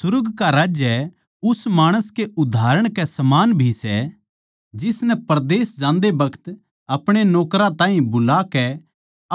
सुर्ग का राज्य उस माणस के उदाहरण के समान भी सै जिसनै परदेस जान्दे बखत अपणे नौकरां ताहीं बुलाकै